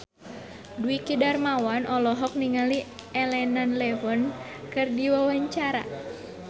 Dwiki Darmawan olohok ningali Elena Levon keur diwawancara